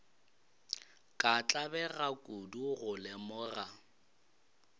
ka tlabega kudu go lemoga